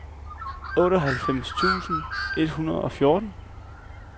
otteoghalvfems tusind et hundrede og fjorten